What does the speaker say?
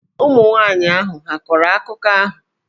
Ụmụ nwanyị ahụ hà a kọrọ akụkọ ahụ?